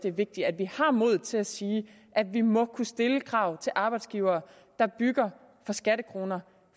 er vigtigt at vi har modet til at sige at vi må kunne stille krav til arbejdsgivere der bygger for skattekroner